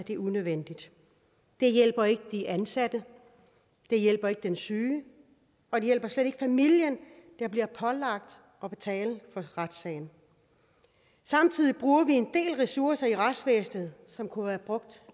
er unødvendigt det hjælper ikke de ansatte det hjælper ikke den syge og det hjælper slet ikke familien der bliver pålagt at betale for retssagen samtidig bruger vi en del ressourcer i retsvæsenet som kunne have været brugt